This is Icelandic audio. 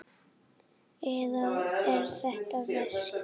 Eða er þetta veski?